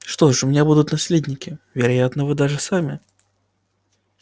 что ж у меня будут наследники вероятно даже вы сами